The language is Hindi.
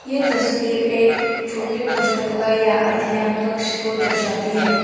यह तस्वीर एक छोटे पुस्तकालय या अध्ययन कक्ष को दर्शाती है।